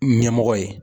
Ɲɛmɔgɔ ye